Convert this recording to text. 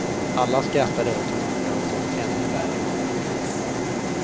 Alla skrattade åt honom för han såg ännu värre komisk ut.